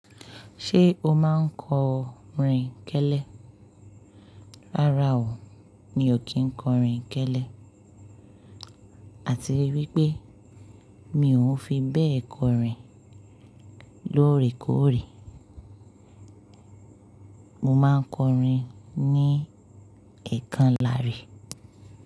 Ṣé o máa ń kọrin kẹ́lẹ́? Rárá o, mi ò kí ń kọrin kẹ́lẹ́. Àti wípé mi ò n fi bẹ́ẹ̀ kọrin lóòrèkóòrè, mo máa ń kọrin ní ẹ̀kanláàrí.